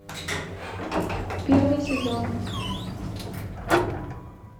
первый сезон